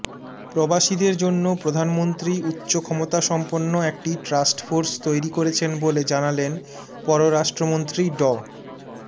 প্রবাসীদের জন্য প্রধানমন্ত্রী উচ্চ ক্ষমতাসম্পন্ন একটি ট্রাস্ট ফোর্স তৈরি করেছেন বলে জানালেন পররাষ্ট্রমন্ত্রী ড